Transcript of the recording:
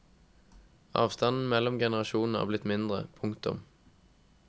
Avstanden mellom generasjonene er blitt mindre. punktum